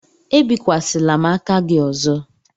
Ebikwasịla m aka gị ọzọ!